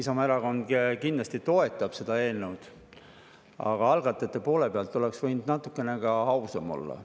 Isamaa Erakond kindlasti toetab seda eelnõud, aga algatajate poole pealt oleks võinud natukene ausam olla.